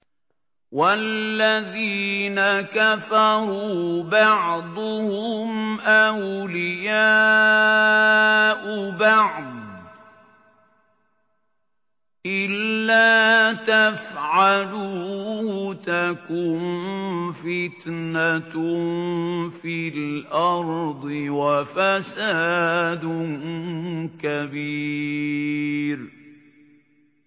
وَالَّذِينَ كَفَرُوا بَعْضُهُمْ أَوْلِيَاءُ بَعْضٍ ۚ إِلَّا تَفْعَلُوهُ تَكُن فِتْنَةٌ فِي الْأَرْضِ وَفَسَادٌ كَبِيرٌ